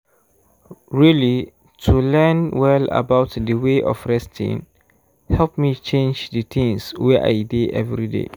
really to learn well about d way of resting help me change d things wey i dey everyday.